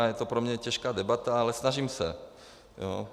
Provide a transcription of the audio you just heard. A je to pro mě těžká debata, ale snažím se.